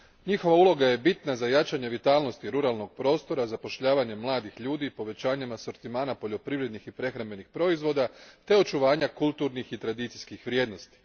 Njihova uloga je bitna za jačanje vitalnosti ruralnog prostora, zapošljavanje mladih ljudi povećanjem asortimana poljoprivrednih i prehrambenih proizvoda te očuvanja kulturnih i tradicijskih vrijednosti.